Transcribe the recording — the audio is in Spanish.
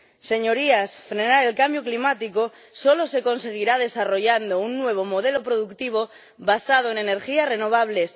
Señorías, frenar el cambio climático solo se conseguirá desarrollando un nuevo modelo productivo basado en las energías renovables.